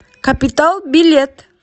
капитал билет